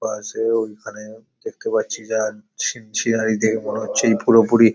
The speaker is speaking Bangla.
পাশে ওইখানে দেখতে পাচ্ছি যা ঝি-ই ঝিরাই দেখে মনে হচ্ছে এই পুরোপুরি --